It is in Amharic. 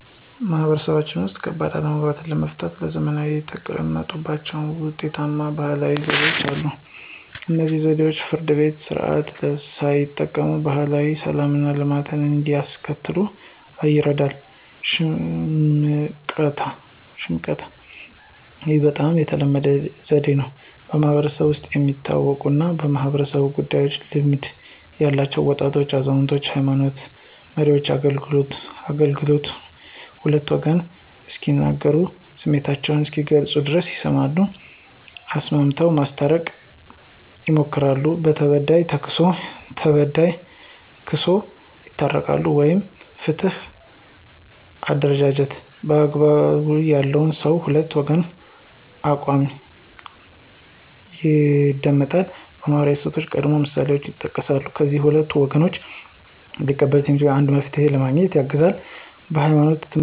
ማህበረሰቦች ውስጥ፣ ከባድ አለመግባባቶችን ለመፍታት ለዘመናት የተጠቀሙባቸው ውጤታማ ባህላዊ ዘዴዎች አሉ። እነዚህ ዘዴዎች የፍርድ ቤትን ስርዓት ሳይጠቀሙ ማህበራዊ ሰላምና ልማትን እንዲያስከትሉ ይርዳሉ። ሽምቀታ (፦ ይህ በጣም ተለመደው ዘዴ ነው። በማህበረሰቡ ውስጥ የሚታወቁና በማኅበራዊ ጉዳዮች ልምድ ያላቸው (በወጣቶች፣ አዛውንቶች፣ የሃይማኖት መሪዎች) አገልግሎቱ ሁለቱም ወገኖች እስኪናገሩና ስሜታቸውን እስኪገልጹ ድረስ ይሰማሉ፣ አሰምተው ማስታረቅ ማስታረቅ ይሞክራሉ። ለተበዳይ ተክስሶ ለበዳይ ተክሶ ይታረቃሉ። ወግ (የፍትህ አደረጃጀት)፦ )" አግባብነት ያለው ሰው የሁለቱን ወገኖች አቋም ይደመጣል፣ የማህበራዊ እሴቶችንና ቀደምት ምሳሌዎችን ይጠቅሳል፣ ከዚያም ሁለቱም ወገኖች ሊቀበሉት የሚችሉትን አንድ መፍትሄ ለማግኘት ያግዛል። የህይማኖት ትምህርት በመስጠት ማስታረቅ። ይቻላል